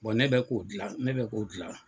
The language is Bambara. ne bɛ k'o dilan ne bɛ k'o dilan.